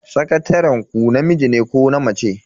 Sakataren ku namiji ne ko na mace?